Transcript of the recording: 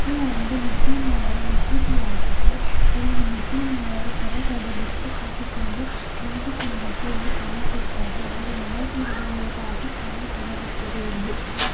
ಇದು ಒಂದು ಮುಸ್ಲಿಮರ ಮಸೀದಿಯಾಗಿದೆ ಇಲ್ಲೂ ಮುಸ್ಲಿಮರು ಹೊರಗಡೆ ಬುರ್ಖ ಹಾಕಿಕೊಂಡು ನಿಂತುಕೊಂಡದ್ದು ಇಲ್ಲಿ ಕಾಣಿಸುತ್ತದೆ ಅವರು ನಮಾಜ್ ಮಾಡುವುದಾಗಿ ಕಾಣತೊಡಗುತ್ತದೆ ಇಲ್ಲಿ --